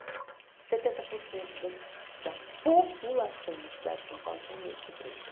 setenta por cento da da população da cidade de São Paulo tinha medo de ser presa.